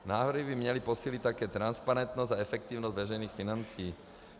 Návrhy by měly posílit také transparentnost a efektivnost veřejných financí.